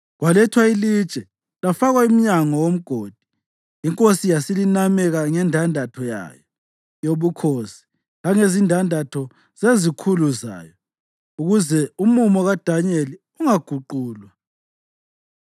Kwalethwa ilitshe lafakwa emnyango womgodi, inkosi yasilinameka ngendandatho yayo yobukhosi langezindandatho zezikhulu zayo, ukuze umumo kaDanyeli ungaguqulwa.